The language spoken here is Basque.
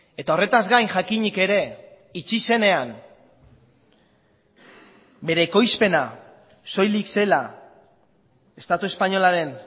eta horretaz gain jakinik ere itxi zenean bere ekoizpena soilik zela estatu espainolaren